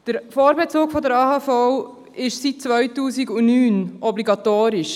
Der Vorbezug der AHV ist seit 2009 obligatorisch.